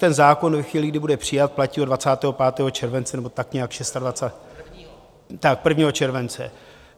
Ten zákon ve chvíli, kdy bude přijat, platí od 25. července nebo tak nějak, 26. - tak 1. července.